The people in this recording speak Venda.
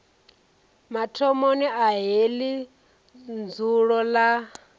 mathomoni a heḽi dzulo ḽa